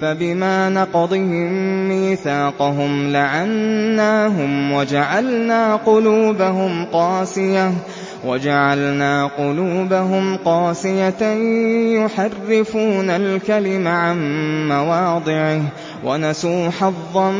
فَبِمَا نَقْضِهِم مِّيثَاقَهُمْ لَعَنَّاهُمْ وَجَعَلْنَا قُلُوبَهُمْ قَاسِيَةً ۖ يُحَرِّفُونَ الْكَلِمَ عَن مَّوَاضِعِهِ ۙ وَنَسُوا حَظًّا